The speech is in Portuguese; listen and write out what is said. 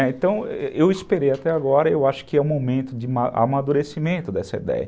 Então, eu esperei até agora, eu acho que é o momento de amadurecimento dessa ideia.